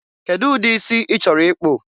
Kedụ ụdị isi ị chọrọ ịkpụ?